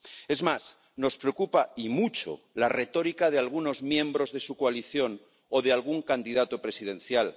Es más, nos preocupa, y mucho, la retórica de algunos miembros de su coalición o de algún candidato presidencial.